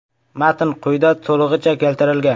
Matn quyida to‘lig‘icha keltirilgan.